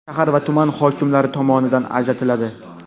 shahar va tuman hokimlari tomonidan ajratiladi.